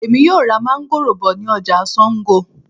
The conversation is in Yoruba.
Èmi yóò ra máńgòrò bọ̀ ní ọjà Sango